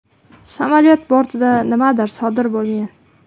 Samolyot bortida nimadir sodir bo‘lgan.